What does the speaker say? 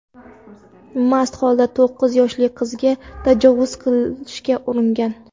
mast holda to‘qqiz yoshli qiziga tajovuz qilishga uringan.